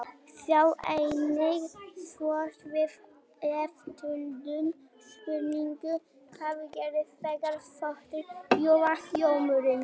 Sjá einnig svör við eftirtöldum spurningum: Hvað gerist þegar þotur rjúfa hljóðmúrinn?